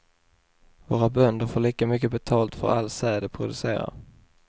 Våra bönder får lika mycket betalt för all säd de producerar.